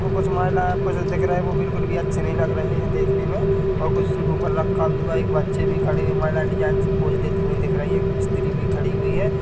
कुछ महिलाएं है आपको जो दिख रहे है वो बिल्कुल भी अच्छी नहीं लग रही हैदेखने मे और कुछ इनके ऊपर रखा भी हुआ है एक बच्चे भी खड़े है महिला डिजाइन से पोज देते हुए दिख रही है स्त्री भी खड़ी हुई है।